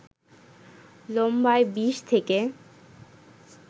লম্বায় ২০ থেকে